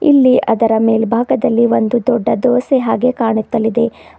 ಇಲ್ಲಿ ಅದರ ಮೇಲ್ಭಾಗದಲ್ಲಿ ಒಂದು ದೊಡ್ಡ ದೋಸೆ ಹಾಗೆ ಕಾಣುತ್ತಲಿದೆ.